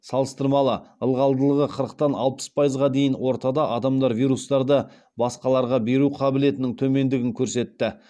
салыстырмалы ылғалдылығы қырықтан алпыс пайызға дейін ортада адамдар вирустарды басқаларға беру қабілетінің төмендігін көрсетті